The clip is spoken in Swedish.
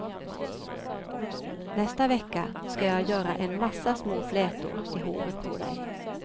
Nästa vecka ska jag göra en massa små flätor i håret på dig.